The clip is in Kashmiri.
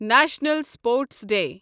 national sports day